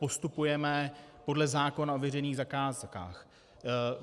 Postupujeme podle zákona o veřejných zakázkách.